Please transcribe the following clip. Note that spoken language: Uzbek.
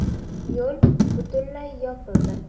Yo‘l butunlay yopildi.